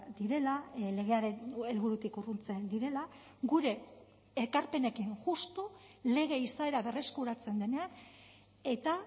direla legearen helburutik urruntzen direla gure ekarpenekin justu lege izaera berreskuratzen denean eta